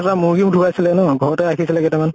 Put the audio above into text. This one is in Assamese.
মূৰ্গী ঢুকাইছিলে ন, ঘৰতে ৰাখিছিলে কেইটা মান।